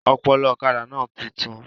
Ọpọlọ ọ̀kadà náà títún